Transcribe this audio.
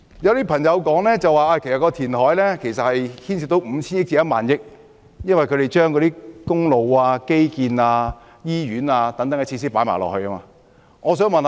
有些朋友說，填海開支高達 5,000 億元至1萬億元，原因是他們把興建公路、基建和醫院等開支也計算在內。